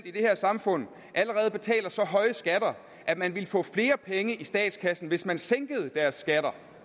i det her samfund allerede betaler så høje skatter at man ville få flere penge i statskassen hvis man sænkede deres skatter